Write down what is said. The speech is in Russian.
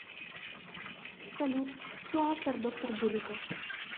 салют кто автор доктор дулиттл